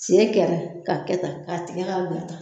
Si kɛra k'a kɛ tan, k'a tigɛ k'a bila tan